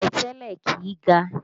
Pẹ̀tẹ́lẹ̀ kìí ga